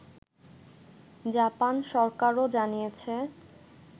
Japan সরকারও জানিয়েছে